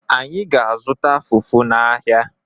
Anyị ga-azụta fufu n’ahịa.